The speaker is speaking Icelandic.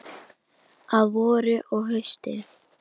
Að vori og hausti.